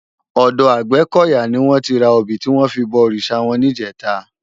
Òdò Agbekoya ni wòn ti rá óbi tiwòn fi bò órisá wòn nijètá